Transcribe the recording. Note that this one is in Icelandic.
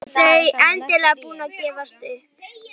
Þau endanlega búin að gefast upp.